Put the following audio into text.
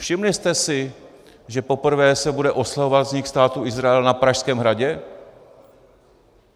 Všimli jste si, že poprvé se bude oslavovat vznik Státu Izrael na Pražském hradě?